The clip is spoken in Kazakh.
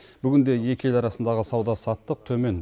бүгінде екі ел арасындағы сауда саттық төмен